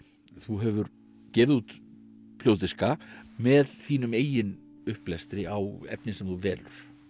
þú hefur gefið út hljóðdiska með þínum eigin upplestri á efni sem þú velur